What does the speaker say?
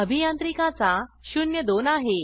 अभियांत्रिकी चा 02 आहे